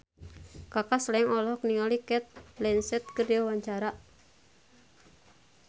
Kaka Slank olohok ningali Cate Blanchett keur diwawancara